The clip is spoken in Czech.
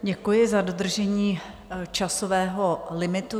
Děkuji za dodržení časového limitu.